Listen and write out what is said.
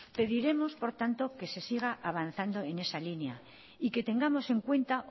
pediremos por tanto que se siga avanzando en esa línea y que tengamos en cuenta